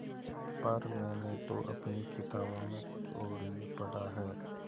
पर मैंने तो अपनी किताबों में कुछ और ही पढ़ा है